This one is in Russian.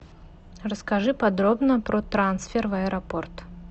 расскажи подробно про трансфер в аэропорт